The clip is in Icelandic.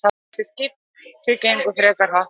Þessi skipti gengu frekar hratt í gegn.